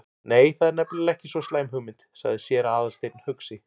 Nei, það er nefnilega ekki svo slæm hugmynd- sagði séra Aðalsteinn hugsi.